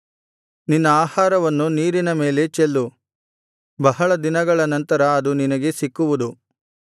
ನಿನ್ನ ಆಹಾರವನ್ನು ನೀರಿನ ಮೇಲೆ ಚೆಲ್ಲು ಬಹಳ ದಿನಗಳ ನಂತರ ಅದು ನಿನಗೆ ಸಿಕ್ಕುವುದು